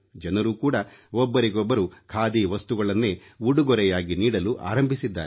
ಜನರು ಕೂಡಾ ಒಬ್ಬರಿಗೊಬ್ಬರು ಖಾದಿ ವಸ್ತುಗಳನ್ನೇ ಉಡುಗೊರೆಯಾಗಿ ನೀಡಲು ಆರಂಭಿಸಿದ್ದಾರೆ